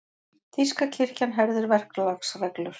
Þýska kirkjan herðir verklagsreglur